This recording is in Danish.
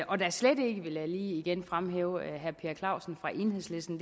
og slet ikke vil jeg da lige igen fremhæve at herre per clausen fra enhedslisten